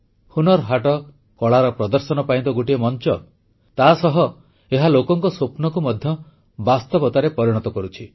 ହୁନର୍ ହାଟ କଳାର ପ୍ରଦର୍ଶନ ପାଇଁ ତ ଗୋଟିଏ ମଂଚ ତାସହ ଏହା ଲୋକଙ୍କ ସ୍ୱପ୍ନକୁ ମଧ୍ୟ ବାସ୍ତବିକତାରେ ପରିଣତ କରୁଛି